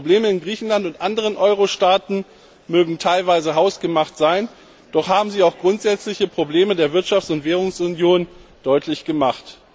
Die Probleme in Griechenland und anderen Euro Staaten mögen teilweise hausgemacht sein, doch haben sie auch grundsätzliche Probleme der Wirtschafts und Währungsunion deutlich gemacht.